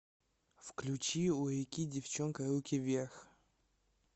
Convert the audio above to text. включи у реки девчонка руки вверх